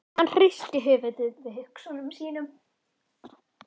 Hann hristi höfuðið við hugsunum sínum.